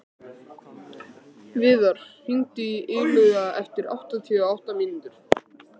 Viðar, hringdu í Illuga eftir áttatíu og átta mínútur.